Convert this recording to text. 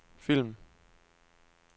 film